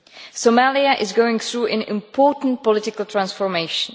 Somalia is going through an important political transformation.